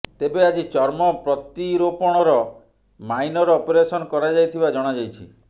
ତେବେ ଆଜି ଚର୍ମ ପ୍ରତିରୋପଣର ମାଇନର ଅପରେସନ କରାଯାଇଥିବା ଜଣାଯାଇଛି